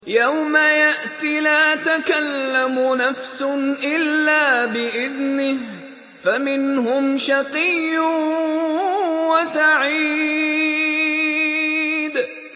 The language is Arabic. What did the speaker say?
يَوْمَ يَأْتِ لَا تَكَلَّمُ نَفْسٌ إِلَّا بِإِذْنِهِ ۚ فَمِنْهُمْ شَقِيٌّ وَسَعِيدٌ